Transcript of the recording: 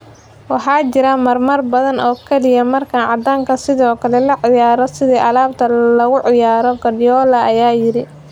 Waxaa jira marar badan oo kaliya marka caddaanka sidoo kale loo ciyaaro sida alaabta lagu ciyaaro," Guardiola ayaa yiri."